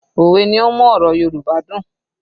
Òwe ni ó ń mú ọ̀rọ̀ Yorùbá dùn